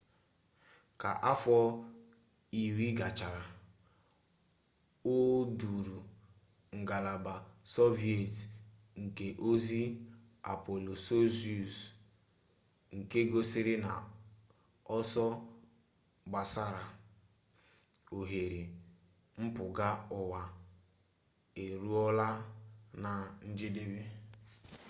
ka afọ iri gachara o duuru ngalaba sọviet nke ozi apolo soyuz nke gosiri na ọsọ gbasara oghere mpụga uwa eruola na njedebe